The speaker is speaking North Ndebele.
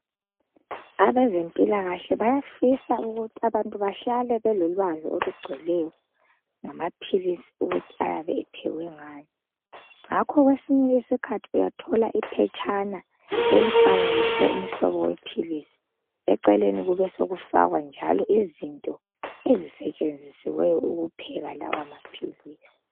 Abezempilakahle bayafisa ukuthi abantu bahlale belolwazi olugcweleyo ngamaphilisi ukuthi ayabe ephekwe ngani ngakho kwesinye isikhathi uyathola iphetshana elifanekiswe umhlobo wephilisi eceleni kube sokufakwa njalo izinto ezisetshenzisiweyo ukupheka lawo maphilisi.